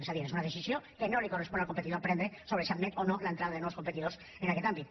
és a dir és una decisió que no li correspon al competidor prendre sobre si admet o no l’entrada de nous competidors en aquest àmbit